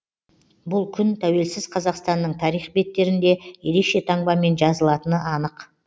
бұл күн тәуелсіз қазақстанның тарих беттерінде ерекше таңбамен жазылатыны анық